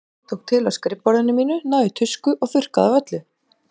Ég tók til á skrifborðinu mínu, náði í tusku og þurrkaði af öllu.